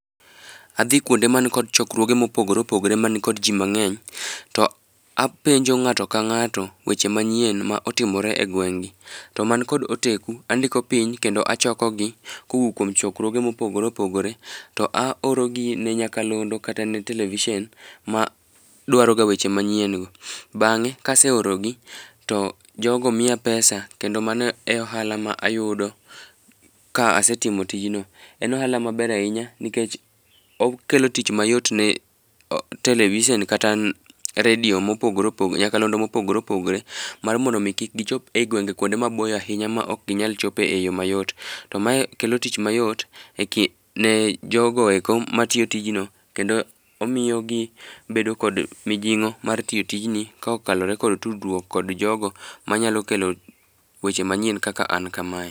Adhi kuonde ma nigi chokruoge mopogore opogore mani ko ji mangény, to apenjo ngáto ka ngáto weche manyien ma otimore e gweng'gi. To man kod oteku, andiko piny kendo achokogi kowuok kuom chokruoge mopogore opogore, to aorogi ne nyakalondo kata ne television ma dwaroga weche manyieni go. Bangé ka aseoronegi to jogo miya pesa, kendo mano e ohala ma ayudo ka asetimo tijno. En ohala maber ahinya, nikech okelo tich mayot ne television kata radio mopogore opogore, nyakalondo mopogore opogore mar mondo omi kik gichop e gwenge kuonde maboyo ahinya ma ok ginyal chopo e yo mayot. To mae kelo tich mayot e ne jogo eko matiyo tijno, kendo omiyo gibedo kod mijingó mar tiyo tijni, ka okalore kod kaokalore kod tudruok kod jogo ma nyalo kelo weche manyien kaka ana kamae.